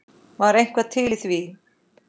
Var eitthvað til í því?